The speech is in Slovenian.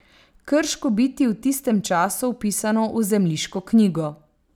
Krško biti v tistem času vpisano v zemljiško knjigo.